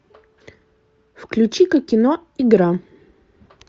включи ка кино игра